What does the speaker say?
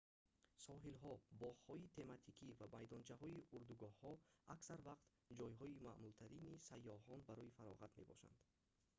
соҳилҳо боғҳои тематикӣ ва майдончаҳои урдугоҳҳо аксар вақт ҷойҳои маъмултарини сайёҳон барои фароғат мебошанд